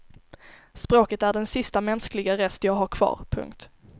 Språket är den sista mänskliga rest jag har kvar. punkt